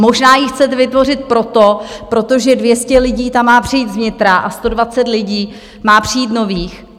Možná ji chcete vytvořit proto, protože 200 lidí tam má přijít z vnitra a 120 lidí má přijít nových.